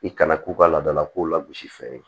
I kana k'u ka laadalakow lagosi fɛn ye